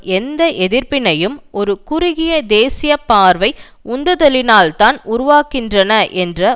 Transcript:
எந்த எதிர்ப்பினையும் ஒரு குறுகிய தேசிய பார்வை உந்துதலினால்தான் உருவாகின்றன என்று